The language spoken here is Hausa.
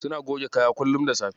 Suna goge kaya kullum da safe.